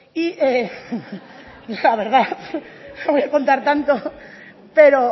y la verdad no voy a contar tanto pero